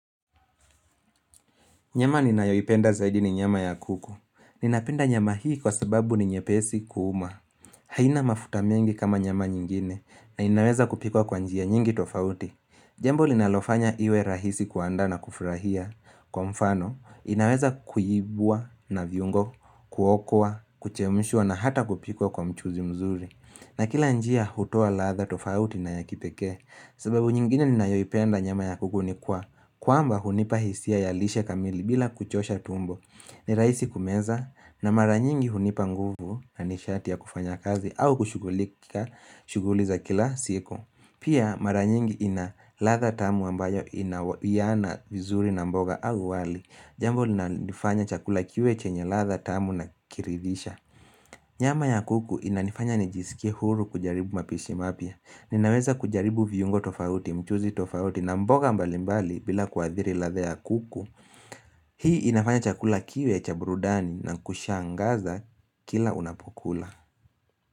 Nyama ninayoipenda zaidi ni nyama ya kuku. Ninapenda nyama hii kwa sababu ni nyepesi kuuma. Haina mafuta mengi kama nyama nyingine na inaweza kupikwa kwa njia nyingi tofauti. Jambo linalofanya iwe rahisi kuanda na kufurahia. Kwa mfano, inaweza kuyibwa na viungo, kuokwa, kuchemshwa na hata kupikwa kwa mchuzi mzuri. Na kila njia hutoa latha tofauti na ya kipekee. Sababu nyingine ninayoipenda nyama ya kuku ni kuwa kwamba hunipa hisia ya lishe kamili bila kuchosha tumbo ni rahisi kumeza na mara nyingi hunipa nguvu na nishati ya kufanya kazi au kushuguliza kila siku Pia mara nyingi ina latha tamu ambayo inawiana vizuri na mboga au wali Jambo liinalofanya chakula kiwe chenye latha tamu na kiridhisha Nyama ya kuku inanifanya nijisikia huru kujaribu mapishi mapya Ninaweza kujaribu viungo tofauti mchuzi tofauti na mboga mbali mbali bila kuadhiri latha ya kuku Hii inafanya chakula kiwe cha burudani na kushangaza kila unapokula.